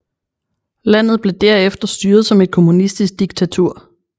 Landet blev der efter styret som et kommunistisk diktatur